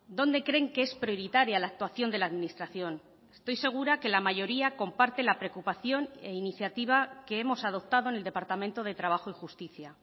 dónde creen que es prioritaria la actuación de la administración estoy segura que la mayoría comparte la preocupación e iniciativa que hemos adoptado en el departamento de trabajo y justicia